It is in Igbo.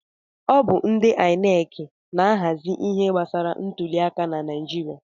Ọ bụ ndị INEC na-ahazi ihe gbasara ntụli aka na Naijiria.